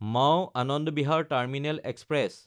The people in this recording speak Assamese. মাও–আনন্দ বিহাৰ টাৰ্মিনেল এক্সপ্ৰেছ